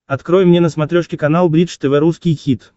открой мне на смотрешке канал бридж тв русский хит